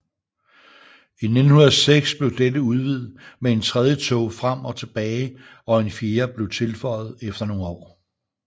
I 1906 blev dette udvidet med en tredje tog frem og tilbage og en fjerde blev tilføjet efter nogle år